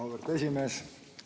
Auväärt esimees!